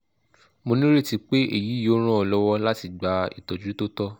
mo nireti pe eyi yoo ran ọ lọwọ lati gba itọju to tọ